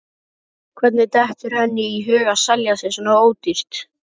Hvernig dettur henni í hug að selja sig svona ódýrt?